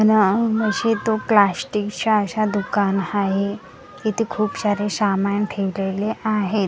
या मशे तो प्लास्टिकच्या अश्या दुकान हाहे इथे खूप शारे सामान ठेवलेले आहेत.